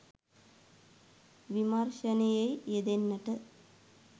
විමර්ශනයෙහි යෙදෙන්නට